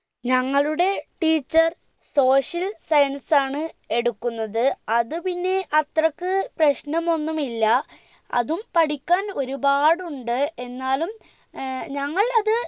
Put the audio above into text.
ഞങ്ങളുടെ teacher social science ആണ് എടുക്കുന്നത് അത് പിന്നെ അത്രക് പ്രശ്നമൊന്നും ഇല്ല അതും പഠിക്കാൻ ഒരുപാടുണ്ട് എന്നാലും ഏർ ഞങ്ങൾ അത്